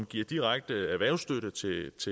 direkte erhvervsstøtte til et